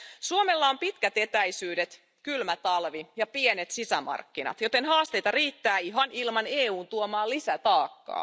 Suomella on pitkät etäisyydet, kylmä talvi ja pienet sisämarkkinat, joten haasteita riittää ihan ilman EUn tuomaan lisätaakkaa.